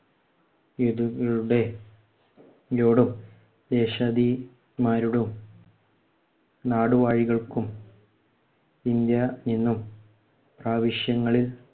യോടും. മാരോടും നാടുവാഴികൾക്കും ഇന്ത്യ നിന്നും പ്രവിശ്യങ്ങളില്‍